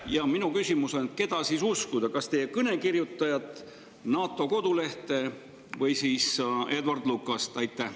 Ja minu küsimus on, keda uskuda, kas teie kõnekirjutajat, NATO kodulehte või Edward Lucast.